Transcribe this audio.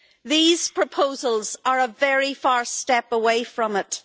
These proposals are a very far step away from it.